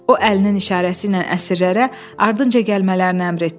O əlinin işarəsi ilə əsirlərə ardınca gəlməyi əmr etdi.